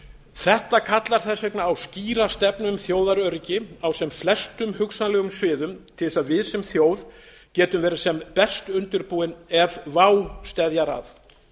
þetta kallar þess vegna á skýra stefnu um þjóðaröryggi á sem flestum hugsanlegum sviðum til þess að við sem þjóð getum verið sem best undirbúin ef vá steðjar að